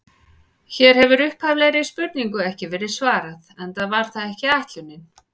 Hér hefur upphaflegri spurningu ekki verið svarað, enda var það ekki ætlunin.